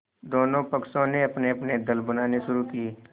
दोनों पक्षों ने अपनेअपने दल बनाने शुरू किये